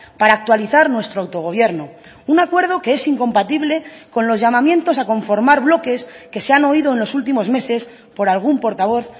para actualizar nuestro autogobierno un acuerdo que es incompatible con los llamamientos a conformar bloques que se han oído en los últimos meses por algún portavoz